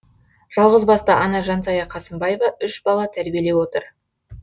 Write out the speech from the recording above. жалғызбасты ана жансая қасымбаева үш бала тәрбиелеп отыр